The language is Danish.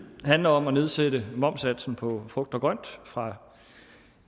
handler om at nedsætte momssatsen på frugt og grønt fra